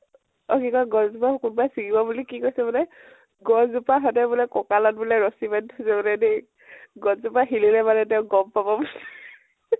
অ কি কয় । গছ জোপা কোনোবায়ে চিঙিব বুলি কি কৈছে বোলে, গছ জোপা সদাই বোলে ককালত বোলে ৰছি বান্ধি থৈ দিয়ে বোলে দেই । গছ জোপা হিলিলে তেওঁ গম পাব বুলি